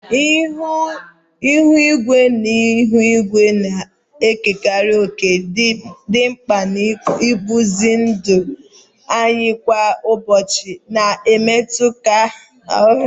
Ihu igwe na ihu igwe na-ekere òkè dị mkpa n'ịkpụzi ndụ anyị kwa ụbọchị, na-emetụta nhọrọ uwe anyị na atụmatụ mpụga.